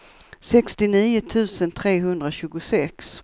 sextionio tusen trehundratjugosex